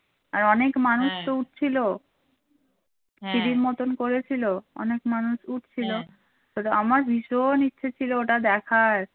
আর অনেক মানুষ তো উঠছিল সিঁড়ির মতন করেছিল অনেক মানুষ উঠছিল আমার ভীষণ ইচ্ছে ছিল ওটা দেখার